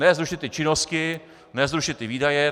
Ne zrušit ty činnosti, ne zrušit ty výdaje.